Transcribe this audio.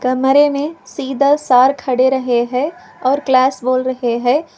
कमरे में सीधा सर खड़े रहे है और क्लास बोल रहे है।